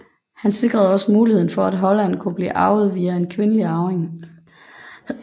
Han sikrede også muligheden for at Holland kunne blive arvet via en kvindelig arving